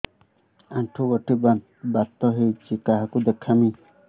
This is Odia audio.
ଆଣ୍ଠୁ ଗଣ୍ଠି ବାତ ହେଇଚି କାହାକୁ ଦେଖାମି